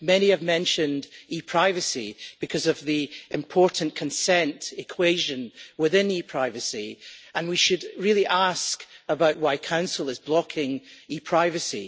Many have mentioned ePrivacy because of the important consent equation within ePrivacy, and we should really ask why the Council is blocking ePrivacy.